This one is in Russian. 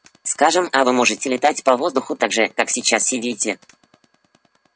скажем а вы можете летать по воздуху так же как сейчас сидите